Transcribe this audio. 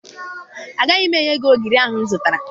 Agaghị m enye gị ogiri ahụ m zụtara